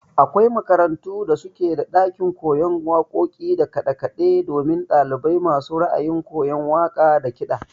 Akwai makarantu da suke da ɗakin koyon waƙoƙi da kaɗe kaɗe domin ɗalibai masu ra'ayin koyan waƙa da kiɗa.